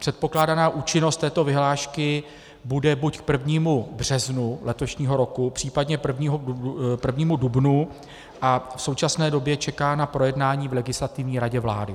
Předpokládaná účinnost této vyhlášky bude buď k 1. březnu letošního roku, případně 1. dubnu, a v současné době čeká na projednání v Legislativní radě vlády.